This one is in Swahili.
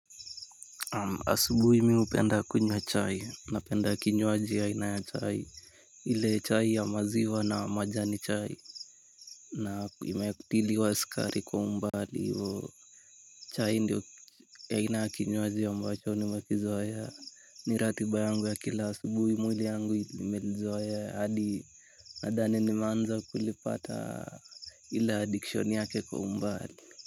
Asubuhi mimi hupenda kunywa chai napenda kinywaji aina ya chai. Ile chai ya maziwa na majani chai. Na imetiliwa sukari kwa umbali hivyo. Chai ndiyo aina ya kinywaji ambacho nimekizoea. Ni ratiba yangu ya kila asubuhi mwili yangu ilimelizoea hadi nadhani nimeanza kulipata. Ile addiction yake kwa umbali.